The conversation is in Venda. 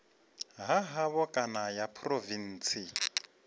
ha havho kana ya phurovintsi